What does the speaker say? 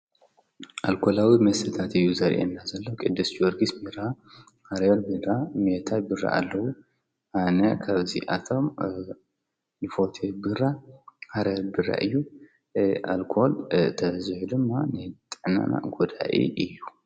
ኣልኮላዊ መሠታት እዩ ዘርአ እና ዘለዉ ቅድስቲወርጊስ ሚራ ኣርዮል ሚድራ ሜታይ ብረ ኣለዉ ኣነ ኸብዚኣቶም ልፈቴ ብራ ሃረ ብረ እዩ ኣልኮል ተዝሑ ድማ ነጠናና ጐዳኢ እዩ።